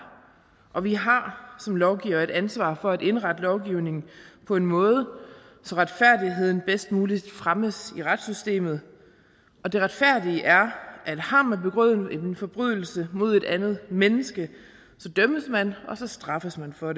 og vi har som lovgivere et ansvar for at indrette lovgivningen på en måde så retfærdigheden bedst muligt fremmes i retssystemet og det retfærdige er at har man begået en forbrydelse mod et andet menneske så dømmes man og så straffes man for